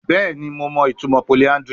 Bẹẹni Mo mọ itumọ polyandry